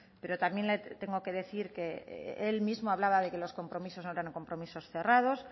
pero también le tengo que decir que él mismo hablaba de que los compromisos no eran tan compromisos cerrados